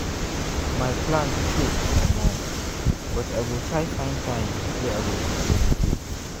my plan choke omo!!! but i go try find time wey i go take meditate.